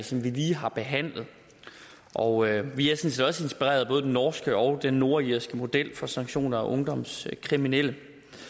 som vi lige har behandlet og vi er sådan set også inspireret af både den norske og den nordirske model for sanktioner af ungdomskriminelle